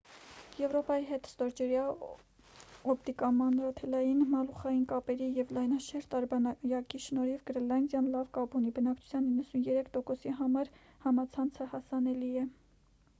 եվրոպայի հետ ստորջրյա օպտիկամանրաթելային մալուխային կապերի և լայնաշերտ արբանյակի շնորհիվ՝ գրենլանդիան լավ կապ ունի. բնակչության 93%-ի համար համացանցը հասանելի է։